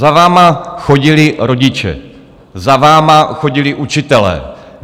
Za vámi chodili rodiče, za vámi chodili učitelé.